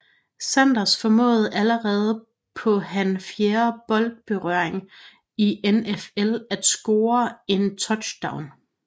Sanders formåede allerede på han fjerde bold berøring i NFL at score en touchdown